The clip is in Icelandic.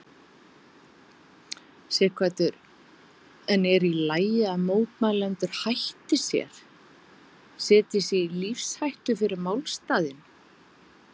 Sighvatur: En er í lagi að mótmælendur hætti sér, setji sig í lífshættu fyrir málstaðinn?